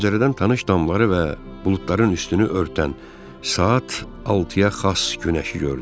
Pəncərədən tanış damları və buludların üstünü örtən saat altıya xas günəşi gördüm.